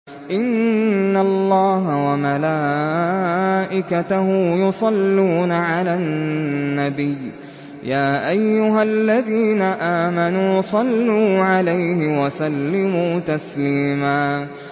إِنَّ اللَّهَ وَمَلَائِكَتَهُ يُصَلُّونَ عَلَى النَّبِيِّ ۚ يَا أَيُّهَا الَّذِينَ آمَنُوا صَلُّوا عَلَيْهِ وَسَلِّمُوا تَسْلِيمًا